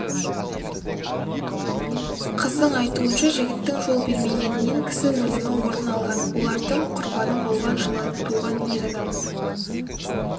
қыздың айтуынша жігіттің жол бермегенінен кісі өлімі орын алған олардың құрбаны болған жылы туған ер адам